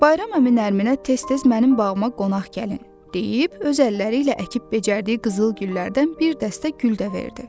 Bayram əmi Nərminə "Tez-tez mənim bağıma qonaq gəlin!" deyib, öz əlləri ilə əkib-becərdiyi qızıl güllərdən bir dəstə gül də verdi.